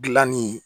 Gilanni